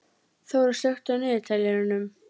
Þóra, slökktu á niðurteljaranum.